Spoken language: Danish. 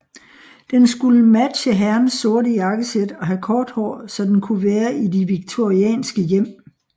Den skulle matche herrens sorte jakkesæt og have kort hår så den kunne være i de victorianske hjem